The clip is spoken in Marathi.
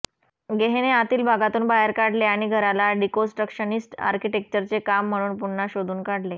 गेह्हेने आतील भागांतून बाहेर काढले आणि घराला डिकोन्स्ट्रक्शनिस्ट आर्किटेक्चरचे काम म्हणून पुन्हा शोधून काढले